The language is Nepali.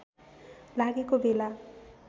लागेको बेला